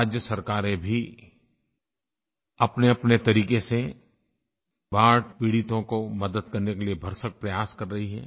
राज्य सरकारें भी अपनेअपने तरीक़े से बाढ़ पीड़ितों को मदद करने के लिए भरसक प्रयास कर रही हैं